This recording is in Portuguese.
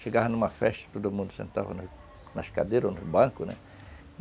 Chegava numa festa, todo mundo sentava nas cadeiras ou nos bancos, né?